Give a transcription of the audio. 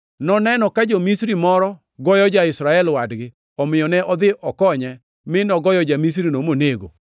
Noneno ka ja-Misri moro goyo ja-Israel wadgi, omiyo ne odhi okonye mi nogoyo ja-Misrino monego.